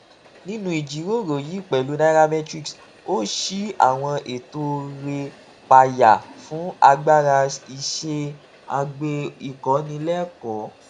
nínú ìjíròrò yìí pèlú nairametrics ó ṣí àwọn ètò rè payá fún agbára iṣé àgbè ìkọnilékòó